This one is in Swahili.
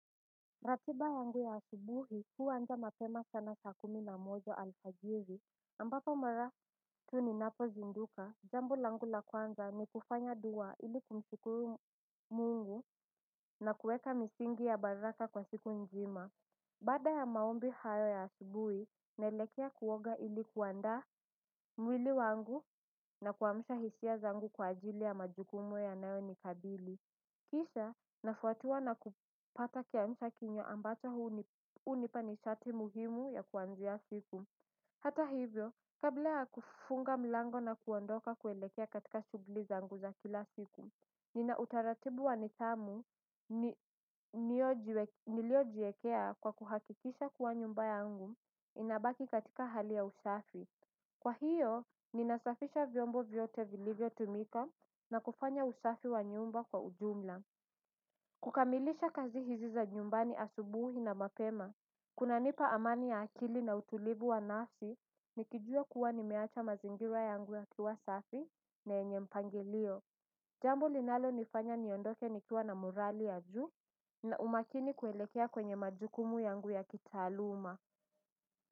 Ratiba yangu ya asubuhi huanza mapema sana saa kumi na moja alfajiri ambapo mara tu ninapozinduka jambo langu la kwanza ni kufanya dua ili kumshukuru mungu na kuweka misingi ya baraka kwa siku nzima. Baada ya maombi hayo ya asubuhi naelekea kuoga ili kuandaa mwili wangu na kuamsha hisia zangu kwa ajili ya majukumu yanayonikabili. Kisha nafuatiwa na kupata kiamsha kinywa ambacho hunipa nishati muhimu ya kuanzia siku. Hata hivyo, kabla ya kufunga mlango na kuondoka kuelekea katika shughuli zangu za kila siku. Nina utaratibu wa nithamu niliojiekea kwa kuhakikisha kuwa nyumba yangu inabaki katika hali ya usafi. Kwa hiyo, ninasafisha vyombo vyote vilivyo tumika na kufanya usafi wa nyumba kwa ujumla. Kukamilisha kazi hizi za nyumbani asubuhi na mapema kunanipa amani ya akili na utulivu wa nafsi nikijua kuwa nimeacha mazingira yangu yakiwa safi na yenye mpangilio jambo linalonifanya niondoke nikiwa na morali ya juu na umakini kuelekea kwenye majukumu yangu ya kitaaluma.